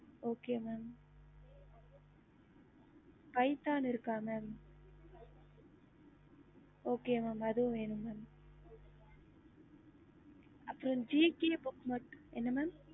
okey mam அதுவும் same rate ஆகும் Python இருக்க mam பைதான் book இருக்குஅது குடுக்கலாம் அப்புறம் gk book வேணும்